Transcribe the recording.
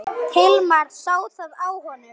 Hilmar sá það á honum.